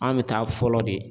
An bɛ taa fɔlɔ de